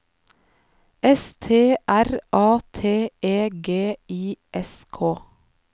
S T R A T E G I S K